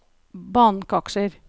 bankaksjer